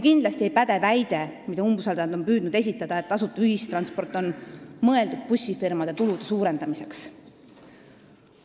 Kindlasti ei päde väide, mida umbusaldajad on püüdnud esitada, nagu tasuta ühistransport oleks mõeldud bussifirmade tulude suurendamiseks.